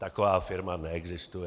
Taková firma neexistuje.